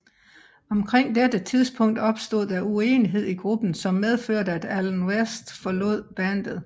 Omkring dette tidspunkt opstod der uenigheder i gruppen som medførte at Allen West forlod bandet